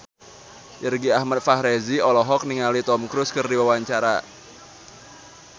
Irgi Ahmad Fahrezi olohok ningali Tom Cruise keur diwawancara